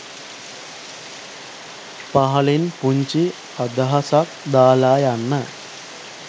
පහලින් පුන්චි අදහසක් දලා යන්න